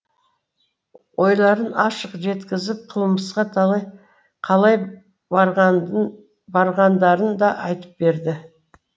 ойларын ашық жеткізіп қылмысқа қалай барғандарын да айтып береді